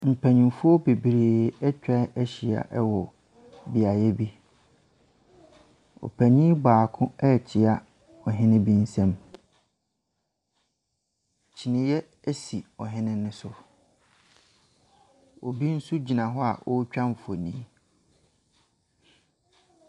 Mpanimfoɔ bebree atwa ahyia wɔ beaeɛ bi. Ɔpanin baako rekyea ɔhehe bi nsam. Kyiniiɛ si ɔhene no so. Obi nso gyina hɔ a ɔretwa mfonin.